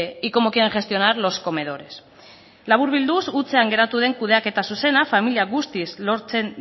y cómo quieren gestionar los comedores laburbilduz hutsean geratu den kudeaketa zuzena familia guztiz lotzen